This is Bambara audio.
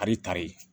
Ari tare